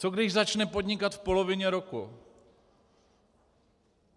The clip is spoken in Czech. Co když začne podnikat v polovině roku?